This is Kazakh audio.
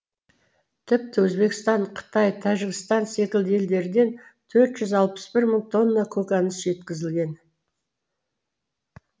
тіпті өзбекстан қытай тәжікстан секілді елдерден тқрт жүз алпыс бір мың тонна көкөніс жеткізілген